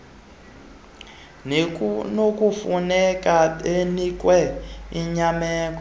nekunokufuneka benikwe inyameko